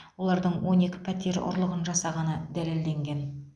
олардың он екі пәтер ұрлығын жасағаны дәлелденген